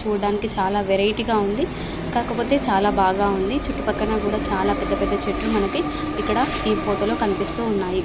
చూడడానికి చాలా వెరైటీ గా ఉంది కాకపోతే చాలా బాగా ఉంది చుట్టుపక్కల కూడా పెద్ద పెద్ద చెట్లు మనకి ఇక్కడ ఈ ఫొటో లో కనిపిస్తుఉన్నాయి.